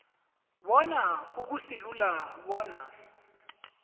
bona akusilula bona